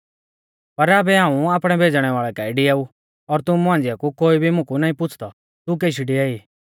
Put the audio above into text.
पर आबै हाऊं आपणै भेज़णै वाल़ै काऐ डिआऊ और तुमु मांझ़िआ कु कोई भी मुकु नाईं पुछ़दौ तू केशी डिआई